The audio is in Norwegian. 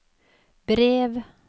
brev